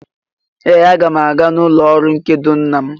Ee! Aga m aga n'ụlọ ọrụ ndekọ nna m.